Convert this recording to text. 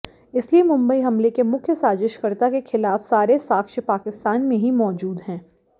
इसलिए मुंबई हमले के मुख्य साजिशकर्ता के खिलाफ सारे साक्ष्य पाकिस्तान में ही मौजूद हैं